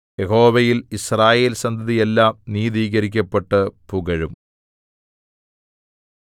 യഹോവയിൽ യിസ്രായേൽസന്തതിയെല്ലാം നീതീകരിക്കപ്പെട്ടു പുകഴും